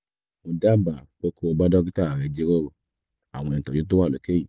mo dábàá pé kó o bá dókítà rẹ jíròrò àwọn ìtọ́jú tó wà lókè yìí